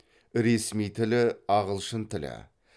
ресми тілі ағылшын тілі